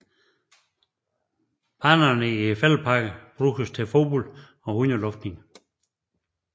Banerne i Fælledparken bruges til fodbold og hundeluftning